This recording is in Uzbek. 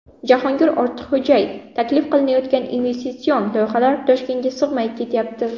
Jahongir Ortiqxo‘jayev: Taklif qilinayotgan investitsion loyihalar Toshkentga sig‘may ketyapti.